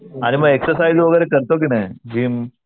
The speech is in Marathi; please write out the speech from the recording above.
आणि मग एक्झरसाईज वगैरे करतो की नाही जिम?